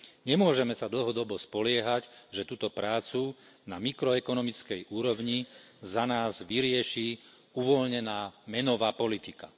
Nemôžeme sa dlhodobo spoliehať, že túto prácu na mikroekonomickej úrovni za nás vyrieši uvoľnená menová politika.